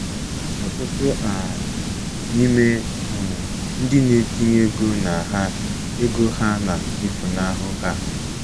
Ọtụtụ um n'ime um ndị na-etinye ego na ha ego ha na-efunahụ ha.